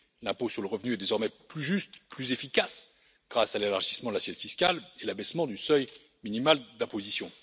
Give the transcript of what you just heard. L'impôt sur le revenu est désormais plus juste, plus efficace grâce à l'élargissement de l'assiette fiscale et l'abaissement du seuil minimal d'imposition.